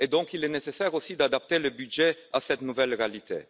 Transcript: il est donc nécessaire, aussi, d'adapter le budget à cette nouvelle réalité.